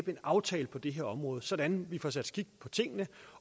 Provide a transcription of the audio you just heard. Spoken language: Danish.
en aftale på det her område sådan vi får sat skik på tingene